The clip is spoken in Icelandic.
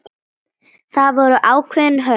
Það voru ákveðin höft.